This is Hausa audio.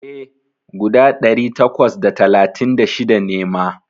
E, guda ɗari takwas da talatin da shida ne ma.